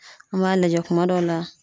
An m'a lajɛ kuma dɔ la.